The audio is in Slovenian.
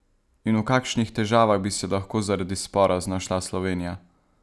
In v kakšnih težavah bi se lahko zaradi spora znašla Slovenija?